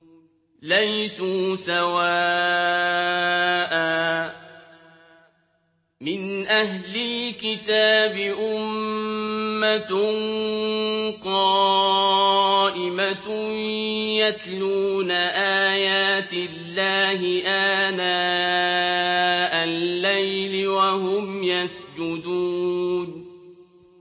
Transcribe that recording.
۞ لَيْسُوا سَوَاءً ۗ مِّنْ أَهْلِ الْكِتَابِ أُمَّةٌ قَائِمَةٌ يَتْلُونَ آيَاتِ اللَّهِ آنَاءَ اللَّيْلِ وَهُمْ يَسْجُدُونَ